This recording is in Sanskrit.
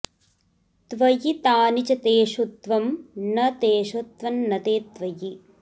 त्वयि तानि च तेषु त्वं न तेषु त्वं न ते त्वयि